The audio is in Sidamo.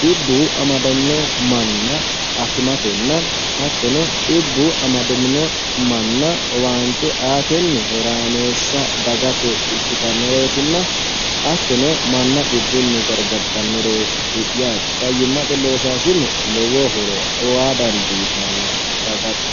dhibbu amadamino manna akimatenna hattono dhibbu amadamino manna owaante aatenni horaameessa dagate ikkitannoreetinna hattono manna dhibbunni garigartannoreti yaate fayyimmate loosaasinne lowo horo aa dandiitanno dagate